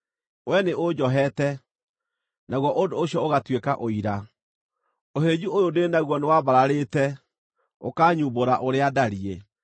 Wee nĩũnjoheete, naguo ũndũ ũcio ũgatuĩka ũira; ũhĩnju ũyũ ndĩ naguo nĩwambararĩte ũkaanyumbũra ũrĩa ndariĩ.